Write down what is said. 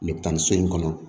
Ne bɛ taa ni so in kɔnɔ